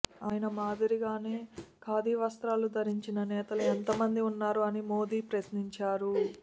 ఆయన మాదిరిగానే ఖాదీ వస్త్రాలు ధరించిన నేతలు ఎంతమంది ఉన్నారు అని మోదీ ప్రశ్నించారు